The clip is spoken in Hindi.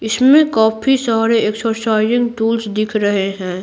इसमें काफी सारे एक्सरसाइजिंग टूल्स दिख रहे हैं।